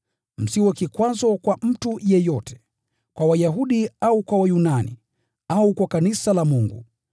Msiwe kikwazo kwa mtu yeyote, wawe Wayahudi au Wayunani, au kwa kanisa la Mungu,